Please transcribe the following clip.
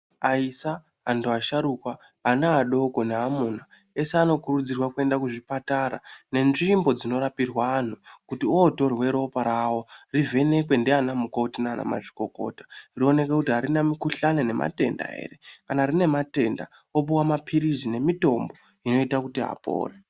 Aisa, antu asharukwa ana adoko neamuna eshe anokurudzirwa kuenda kuzvipatara nenzvimbo dzinorapirwa antu kuti votorwe ropa rawo rivhenekwe ndiana mukoti nanamazvikokota rionekwe kuti harina mukuhlani nematenda ere kana rine matenda vopuwa mapirizi nemitombo inoita kuti apore.